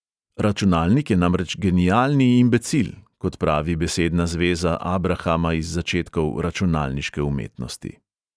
Računalnik je namreč genialni imbecil, kot pravi besedna zveza abrahama iz začetkov računalniške umetnosti.